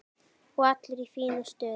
Og allir í fínu stuði.